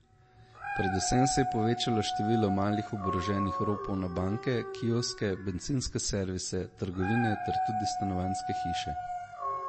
Predvsem se je povečalo število malih oboroženih ropov na banke, kioske, bencinske servise, trgovine ter tudi stanovanjske hiše.